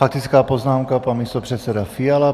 Faktická poznámka, pan místopředseda Fiala.